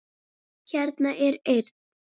Hérna er eyrin.